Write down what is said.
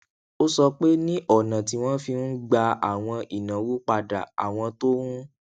ó sọ pé ní ònà tí wọn fi ń gba àwọn ìnáwó padà àwọn tó ń